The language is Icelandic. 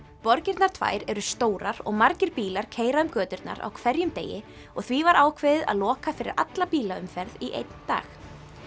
borgirnar tvær eru stórar og margir bílar keyra um göturnar á hverjum degi og því var ákveðið að loka fyrir alla bílaumferð í einn dag